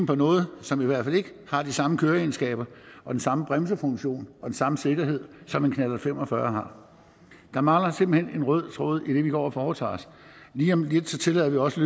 på noget som i hvert fald ikke har de samme køreegenskaber og den samme bremsefunktion og den samme sikkerhed som en knallert fem og fyrre har der mangler simpelt hen en rød tråd i det vi går og foretager os lige om lidt tillader vi også